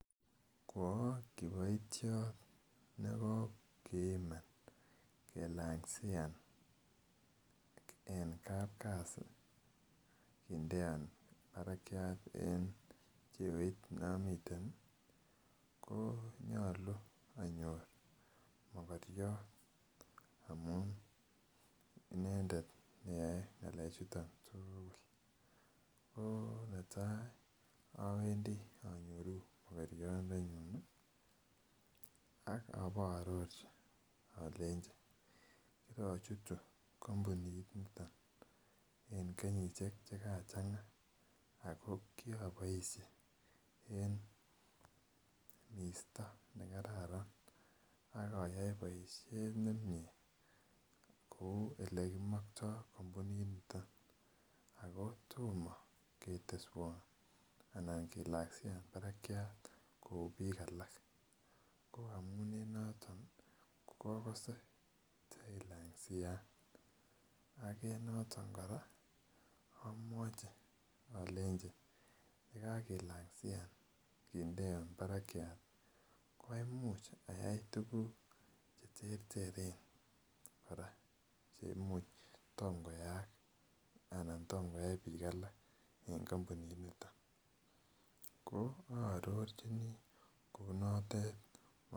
Koa kiboitiot nekokiiman kilingansian en kapkasi kindeon barakyat en cheoit neomiten konyolu anyor mokoryot amun inendet ne yoe ngalechoto ko netai awendi anyoruu mokoryondenyun ak aba aarorchi kirochutu kampuninito en kenyisiek Che kachanga ak kiroboisie en misto nekaran ak ayoe boisiet nemie kou Ole kimoktoi kampuninito ako tomo keteswon anan kilangsian barakyat kou bik alak ko amun en noto agose tailangsian ak en noton kora amwachi alenji ye kagilangsian kindeon barakyat koamuch ayai tuguk Che terteren kora Che amuch kotom koyaaak anan kotom koyai bik alak en kampuninito ko aarorchini kounotet